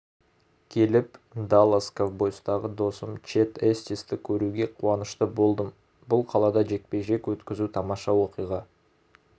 келіп даллас ковбойстағы досым чед эстисті көруге қуанышты болдым бұл қалада жекпе-жек өткізу тамаша оқиға